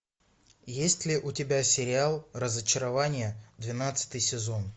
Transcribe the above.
есть ли у тебя сериал разочарование двенадцатый сезон